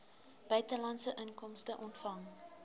buitelandse inkomste ontvang